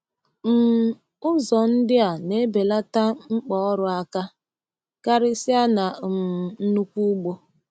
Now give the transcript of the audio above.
um Ụzọ ndị a na-ebelata mkpa ọrụ aka, karịsịa na um nnukwu ugbo.